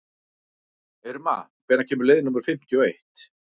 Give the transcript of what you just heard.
Irma, hvenær kemur leið númer fimmtíu og eitt?